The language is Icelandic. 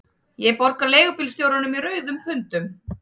Ég borga leigubílstjóranum í rauðum pundum